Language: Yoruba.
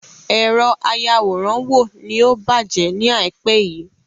Èrọ ayàwòrán wo ni ó bàjẹ́ ni àìpé yìí.